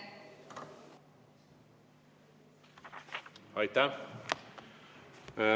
Aitäh!